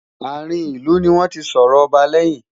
àrin ilu ní wọn tí sòrò ọba leyin